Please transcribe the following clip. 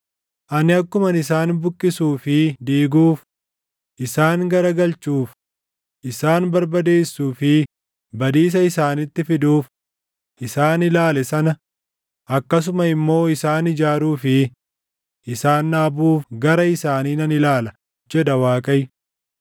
“Ani akkuman isaan buqqisuu fi diiguuf, isaan garagalchuuf, isaan barbadeessuu fi badiisa isaanitti fiduuf isaan ilaale sana akkasuma immoo isaan ijaaruu fi isaan dhaabuuf gara isaanii nan ilaala” jedha Waaqayyo.